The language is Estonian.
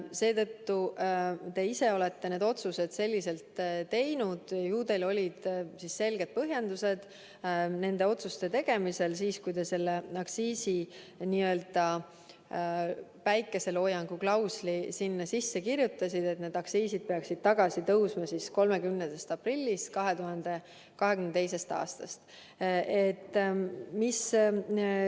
Seetõttu te ise olete need otsused selliselt teinud, ju teil olid selged põhjendused nende otsuste tegemisel siis, kui te selle aktsiisi n-ö päikeseloojangu klausli sinna sisse kirjutasite, et need aktsiisid peaksid tagasi tõusma 30. aprillist 2022. aastal.